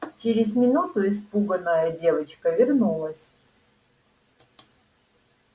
через минуту испуганная девочка вернулась